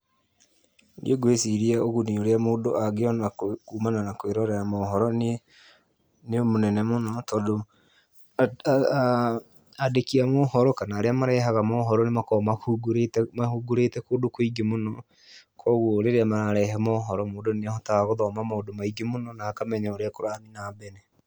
Niĩ ngwĩciria ũguni ũrĩa mũndũ angĩona kumana na kwĩrorera mohoro nĩ nĩ mũnene mũno, tondũ andĩki a mohoro kana arĩa marehaga mohoro nĩmakoagwo mahungurĩte mahungurĩte kũndũ kũingĩ mũno, kuoguo rĩrĩa mararehe mohoro mũndũ nĩahotaga gũthoma maũndũ maingĩ mũno na akamenya ũrĩa kũrathiĩ na mbere.